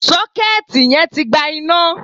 Sọ́kẹ́ẹ̀tì yẹn tí gba iná.